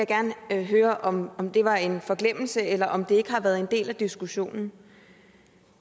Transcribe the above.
gerne høre om om det var en forglemmelse eller om det ikke har været en del af diskussionen